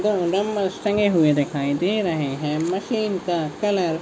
दो डबल्स टंगे हुए दिखाई दे रहे है। मशीन का कलर --